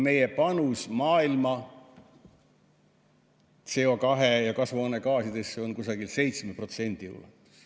Meie panus maailma CO2 ja kasvuhoonegaasidesse on 7% juures.